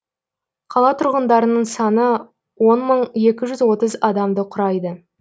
қала тұрғындарының саны он мың екі жүз отыз адамды құрайды